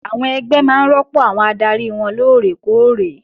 Àwọn ẹgbẹ́ máa rọ́pò àwọn adarí wọn lóòrè kóòrè